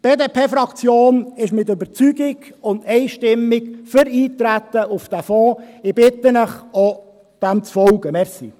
Die BDP-Fraktion ist mit Überzeugung und einstimmig für das Eintreten auf diesen Fonds.